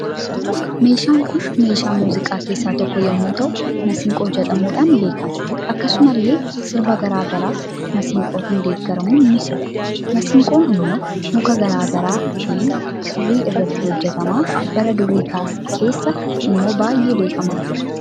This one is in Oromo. Meeshaan Kun meesha muuziqa kessa tokko yommuu ta'u maasinqoo jedhamuudhaan beekama akkasumas illee sirba garaa gara masinqootiin deeggaramuun ni sirbu. Maasinqoon immoo muka garaa garaa fi kirrii irraatii hojjetama bara durii keessa immoo baay'ee beekama ture.